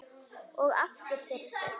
Og aftur fyrir sig.